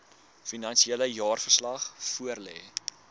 finansiële jaarverslag voorlê